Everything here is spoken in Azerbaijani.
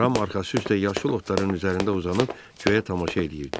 Ram arxası üstə yaşıl otların üzərində uzanıb göyə tamaşa eləyirdi.